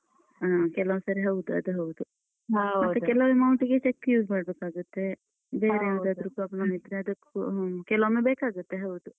ಹ್ಮ ಕೆಲವೊಂದ್ಸರಿ ಹೌದು ಅದ್ ಹೌದು. ಹೌದು ಮತ್ತೆ ಕೆಲವು amount ಗೆ cheque use ಮಾಡ್ಬೇಕಾಗತ್ತೆ. problem ಇದ್ರೆ ಅದಕ್ಕೂವ. ಕೆಲವೊಮ್ಮೆ ಬೇಕಾಗತ್ತೆ ಹೌದು.